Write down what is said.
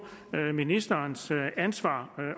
ministerens ansvar